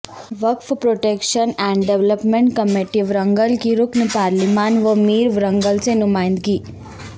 وقف protection and development committee Warangal کی رکن پارلیمان و میئر ورنگل سے نمائندگی